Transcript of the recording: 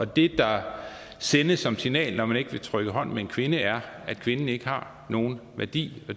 det der sendes som signal når man ikke vil trykke hånd med en kvinde er at kvinden ikke har nogen værdi